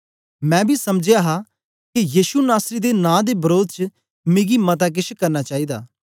मैं बी समझ हा के यीशु नासरी दे नां दे वरोध च मिकी मता केछ करना चाईदा